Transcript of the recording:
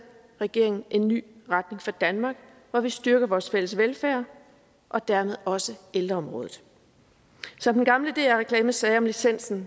regeringen en ny retning for danmark hvor vi styrker vores fælles velfærd og dermed også ældreområdet som den gamle dr reklame sagde om licensen